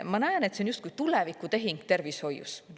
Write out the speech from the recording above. Ma näen, et see on justkui tulevikutehing tervishoius.